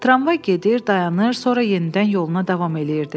Tramvay gedir, dayanır, sonra yenidən yoluna davam eləyirdi.